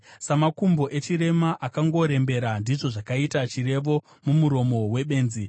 Samakumbo echirema akangorembera ndizvo zvakaita chirevo mumuromo webenzi.